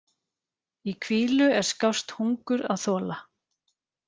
Í hvílu er skást hungur að þola.